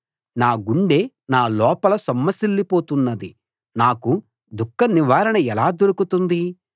నా గుండె నా లోపల సొమ్మసిల్లి పోతున్నది నాకు దుఃఖ నివారణ ఎలా దొరుకుతుంది